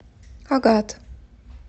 агат